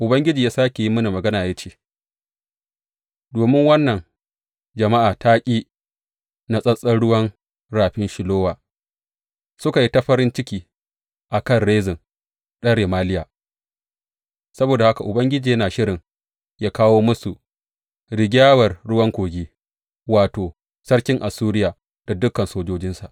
Ubangiji ya sāke yi mini magana ya ce, Domin wannan jama’a ta ƙi natsattsen ruwan rafin Shilowa suka yi ta farin ciki a kan Rezin ɗan Remaliya, saboda haka Ubangiji yana shirin yă kawo musu rigyawar ruwan Kogi, wato, sarkin Assuriya da dukan sojojinsa.